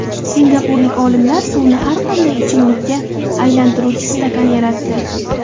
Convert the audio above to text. Singapurlik olimlar suvni har qanday ichimlikka aylantiruvchi stakan yaratdi .